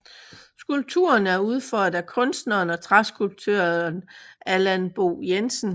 Skulpturen er udført af kunstneren og træskulptøren Allan Bo Jensen